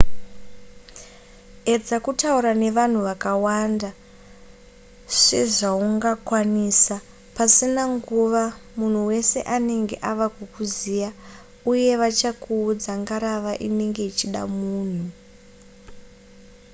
edza kutaura nevanhu vakawanda sezvaungakwanisa pasina nguva munhu wese anenge ava kukuziva uye vachakuudza ngarava inenge ichida munhu